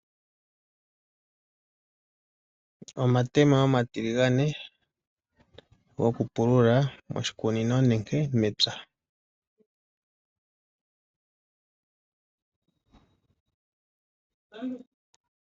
Omatemo omatiligane gokupulula oshikunino nenge mepya.